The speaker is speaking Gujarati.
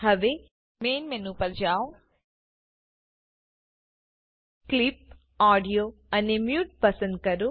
હવે મેન મેનુ પર જાવ ક્લિપ ઓડિયો અને મ્યુટ પસંદ કરો